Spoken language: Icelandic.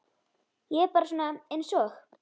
Ég er bara svona einsog.